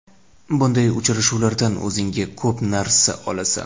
Bunday uchrashuvlardan o‘zingga ko‘p narsa olasan”.